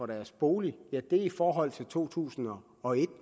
deres bolig er i forhold til to tusind og et